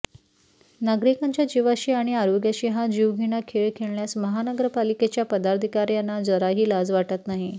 नागरिकांच्या जीवाशी आणि आरोग्याशी हा जीवघेणा खेळ खेळण्यास महानगरपालिकेच्या पदाधिकार्यांना जराही लाज वाटत नाही